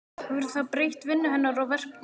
Hefur það breytt vinnu hennar og verkum?